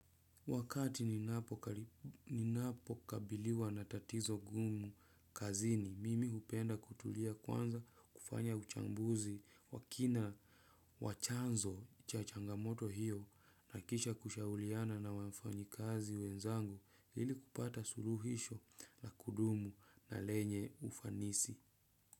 Wakati ninapo kabiliwa na tatizo gumu kazini, mimi hupenda kutulia kwanza kufanya uchambuzi wa kina wa chanzo cha changamoto hiyo na kisha kushauriana na wafanyikazi wenzangu ili kupata suluhisho na kudumu na lenye ufanisi.